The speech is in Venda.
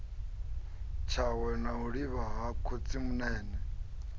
tshawe a livha ha khotsimunene